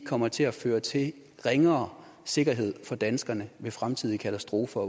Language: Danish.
kommer til at føre til ringere sikkerhed for danskerne ved fremtidige katastrofer